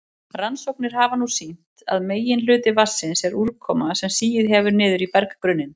Rannsóknir hafa nú sýnt að meginhluti vatnsins er úrkoma sem sigið hefur niður í berggrunninn.